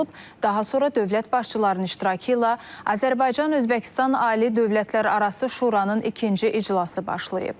Daha sonra dövlət başçılarının iştirakı ilə Azərbaycan Özbəkistan Ali Dövlətlərarası Şuranın ikinci iclası başlayıb.